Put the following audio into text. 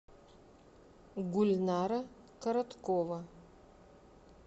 гульнара короткова